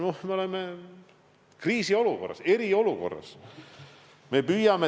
Me oleme kriisiolukorras, eriolukorras.